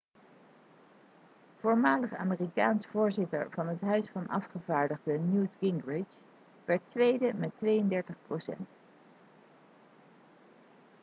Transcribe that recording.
voormalig amerikaans voorzitter van het huis van afgevaardigden newt gingrich werd tweede met 32 procent